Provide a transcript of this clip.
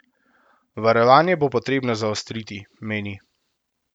Varovanje bo potrebno zaostriti, meni.